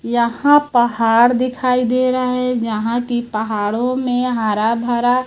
यहां पहाड़ दिखाई दे रहा है यहां की पहाड़ों में हरा भरा--